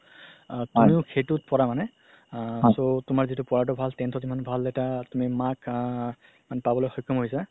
আ তুমিও সেইটোত পৰা মানে আ তুমাৰ যিহেতু পঢ়াতও ভাল tenth ত ইমান ভাল এটা তুমি marks আ পাবলৈ শৈক্ষম হৈছা